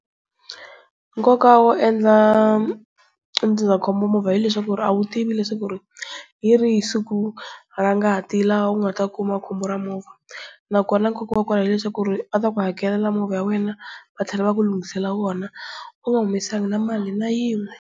Nkoka wo endla ndzindzakhombo movha hileswaku a wu tivi leswaku hi rihi siku ra ngati laha u nga ta kuma khombo ra movha, na kona nkoka wa kona hileswaku va ta ku hakelela movha wa wena va tlhela va ku lunghisela wona u nga humesangi na mali na yin'we.